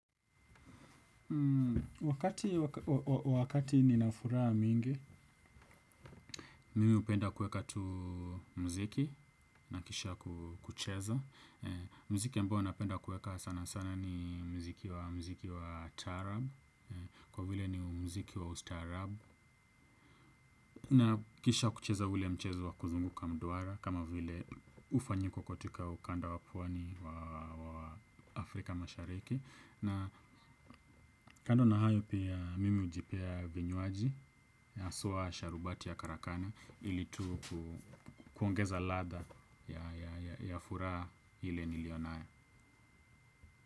Wakati wakati nina furaha mingi mimi hupenda kueka tu mziki na kisha kucheza mziki ambao napenda kueka sana sana ni mziki wa mziki wa taarab kwa vile ni mziki wa ustaarab na kisha kucheza ule mchezo wa kuzunguka mduara kama vile ufanyiko katika ukanda wa pwani wa Afrika mashariki na kando na hayo pia mimi hujipea vinywaji haswa sharubati ya karakana ili tu kuongeza ladha ya furaha ile nilio nayo.